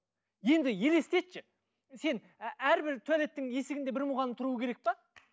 енді елестетші сен әрбір туалеттің есігінде бір мұғалім тұруы керек пе